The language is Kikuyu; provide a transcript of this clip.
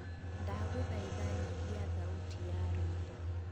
ndagūthaitha nyihia thauti ya rwīmbo